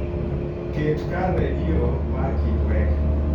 ket kar redio mar kitwek